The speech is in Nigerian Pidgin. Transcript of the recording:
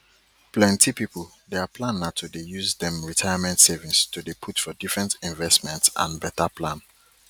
plenty people their plan na to dey use dem retirement savings to dey put for different investments and better plan